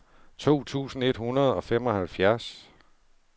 to tusind et hundrede og femoghalvfjerds